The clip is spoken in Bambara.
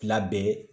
Fila bɛɛ